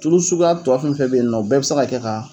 Tulu suguya tɔ fɛn fɛn be yen nɔ o bɛɛ be se ka kɛ k'a